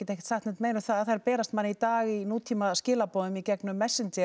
ekki sagt neitt meira um það þær berast manni í dag í í gegnum